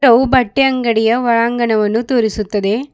ಅವು ಬಟ್ಟೆ ಅಂಗಡಿಯ ಒಳಾಂಗಣವನ್ನು ತೋರಿಸುತ್ತದೆ